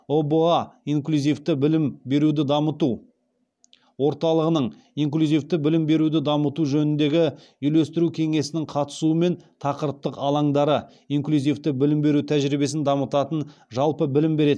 ұба инклюзивті білім беруді дамыту орталығының инклюзивті білім беруді дамыту жөніндегі үйлестіру кеңесінің қатысуымен тақырыптық алаңдары инклюзивті білім беру тәжірибесін дамытатын жалпы білім беретін